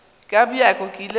ka bjako ke ile ka